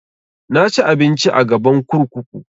Na ci abinci a gaban kurkuku